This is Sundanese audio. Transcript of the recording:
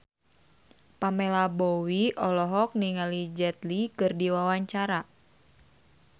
Pamela Bowie olohok ningali Jet Li keur diwawancara